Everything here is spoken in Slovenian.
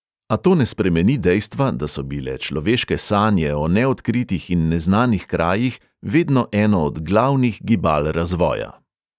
A to ne spremeni dejstva, da so bile človeške sanje o neodkritih in neznanih krajih vedno eno od glavnih gibal razvoja.